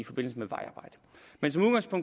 forbindelse med vejarbejde men